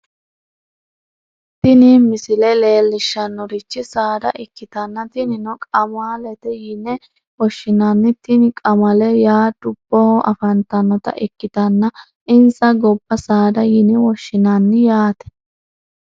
tini misile leellishshannorichi saada ikkitanna tinino qamalete yine woshshinanni tini qamale yaa dubboho afantannota ikkitanna insa gobba saada yine woshshinanni yaate.